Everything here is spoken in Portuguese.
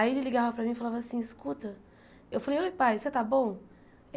Aí ele ligava para mim e falava assim, escuta... Eu falei, oi pai, você está bom?